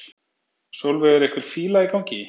Sólveig: Er einhver fíla í gangi?